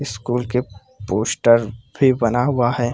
Score के poster भी बना हुआ है।